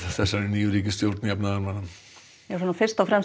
þessari nýju ríkisstjórn jafnaðarmanna fyrst og fremst